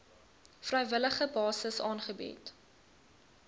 vrywillige basis aangebied